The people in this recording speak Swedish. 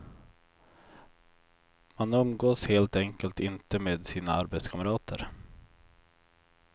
Man umgås helt enkelt inte med sina arbetskamrater.